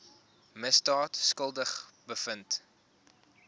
misdaad skuldig bevind